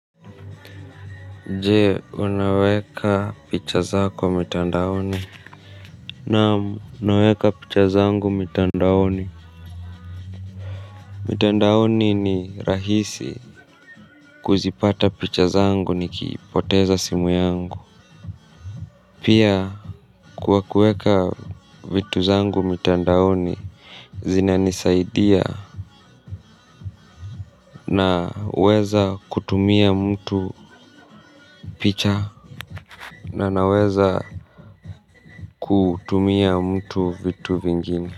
Jee, wanaweka picha zako mitandaoni. Namu, naweka picha zangu mitandaoni. Mitandaoni ni rahisi kuzipata picha zangu nikiipoteza simu yangu. Pia, kuwa kueka vitu zangu mitandaoni, zina nisaidia naweza kutumia mtu picha na naweza kutumia mtu vitu vingine.